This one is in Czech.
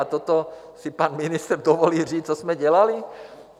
A toto si pan ministr dovolí říct, co jsme dělali?